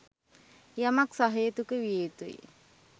යමක් සහේතුක විය යුතුයි.